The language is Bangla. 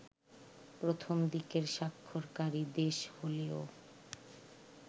প্রথম দিকের স্বাক্ষরকারী দেশ হলেও